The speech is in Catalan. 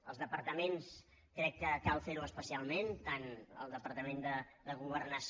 als departaments crec que cal fer ho especialment tant al departament de governació